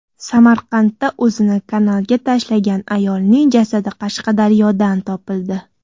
Samarqandda o‘zini kanalga tashlagan ayolning jasadi Qashqadaryodan topildi.